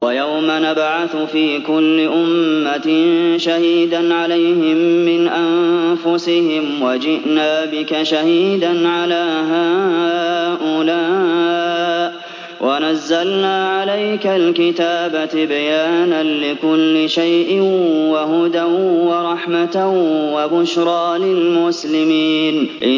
وَيَوْمَ نَبْعَثُ فِي كُلِّ أُمَّةٍ شَهِيدًا عَلَيْهِم مِّنْ أَنفُسِهِمْ ۖ وَجِئْنَا بِكَ شَهِيدًا عَلَىٰ هَٰؤُلَاءِ ۚ وَنَزَّلْنَا عَلَيْكَ الْكِتَابَ تِبْيَانًا لِّكُلِّ شَيْءٍ وَهُدًى وَرَحْمَةً وَبُشْرَىٰ لِلْمُسْلِمِينَ